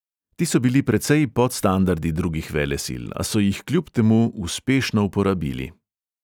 Ti so bili precej pod standardi drugih velesil, a so jih kljub temu uspešno uporabili.